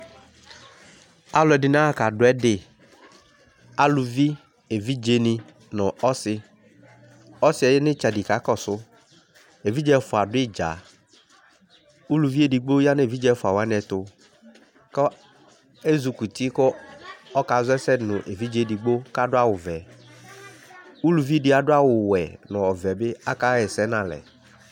Alʋ ɛdini aaka dʋ ɛdiAluvi, evidze ni , nʋ ɔsi Ɔsiɛ ya nʋ itsɛdi kakɔsuEvidze ɛfua dʋ idzaUluvi edigbo yanʋ evidze ɛfua waniɛtukʋ ezukuti , kɔkazɔ ɛsɛdi nu evidze edigbo kadʋ awu vɛUluvi di adʋ awu wɛ , nu ɔvɛ bi akaɣɛsɛ nalɛ